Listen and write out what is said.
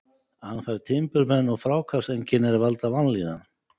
Hann fær timburmenn og fráhvarfseinkenni er valda vanlíðan.